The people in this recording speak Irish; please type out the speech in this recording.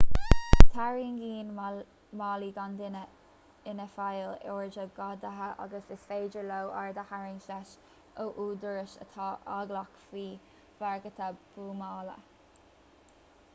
tarraingíonn málaí gan duine ina bhfeighil aird ó ghadaithe agus is féidir leo aird a tharraingt leis ó údaráis atá eaglach faoi bhagairtí buamála